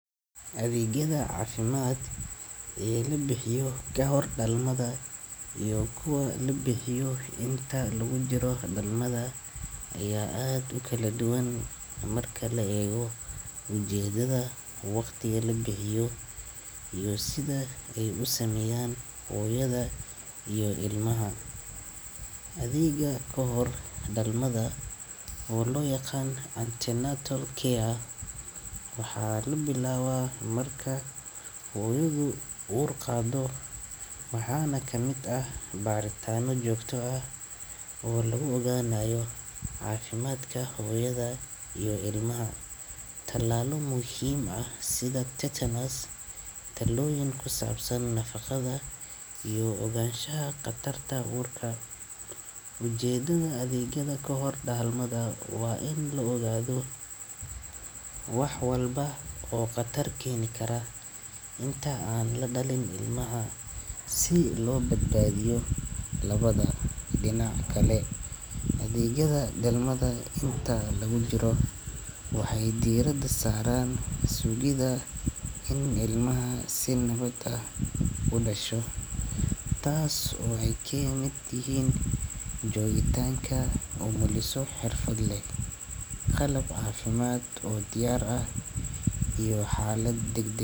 Adeegyada caafimaad ee la bixiyo ka hor dhalmada iyo kuwa la bixiyo intii lagu jiro dhalmada ayaa aad u kala duwan marka la eego ujeedada, waqtiga la bixiyo, iyo sida ay u saameeyaan hooyada iyo ilmaha. Adeegyada kahor dhalmada, oo loo yaqaan antenatal care, waxaa la bilaabaa marka hooyadu uur qaado, waxaana ka mid ah baaritaanno joogto ah oo lagu ogaanayo caafimaadka hooyada iyo ilmaha, talaallo muhiim ah sida tetanus, talooyin ku saabsan nafaqada, iyo ogaanshaha khatarta uurka. Ujeedada adeegyada kahor dhalmada waa in la ogaado wax walba oo khatar keeni kara inta aan la dhalin ilmaha si loo badbaadiyo labadaba. Dhinaca kale, adeegyada dhalmada inta lagu jiro waxay diiradda saaraan sugidda in ilmaha si nabad ah u dhasho, taas oo ay ka mid yihiin joogitaanka umuliso xirfad leh, qalab caafimaad oo diyaar ah, iyo xaalad degdeg.